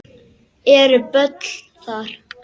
Eru böll þar?